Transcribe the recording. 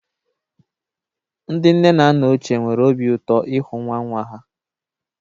Ndị nne na nna ochie nwere obi ụtọ ịhụ nwa nwa ha.